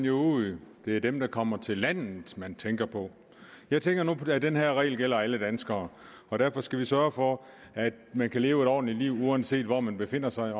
jo ud det er dem der kommer til landet man tænker på jeg tænker nu at den her regel gælder alle danskere og derfor skal vi sørge for at man kan leve et ordentligt liv uanset hvor man befinder sig